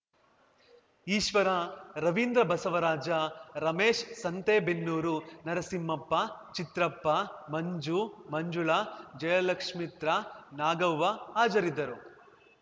ಈಶ್ವರ ರವಿಂದ್ರ ಬಸವರಾಜ ರಮೇಶ್ ಸಂತೆಬೆನ್ನೂರು ನರಸಿಂಹಪ್ಪ ಚಿತ್ರಪ್ಪ ಮಂಜು ಮಂಜುಳಾ ಜಯಲಕ್ಷ್ಮಿತ್ರ ನಾಗವ್ವ ಹಾಜರಿದ್ದರು